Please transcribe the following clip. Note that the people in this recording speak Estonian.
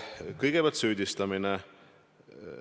Kõigepealt süüdistamine.